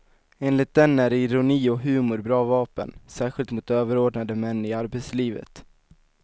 Enligt den är ironi och humor bra vapen, särskilt mot överordnade män i arbetslivet.